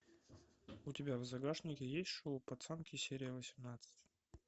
у тебя в загашнике есть шоу пацанки серия восемнадцать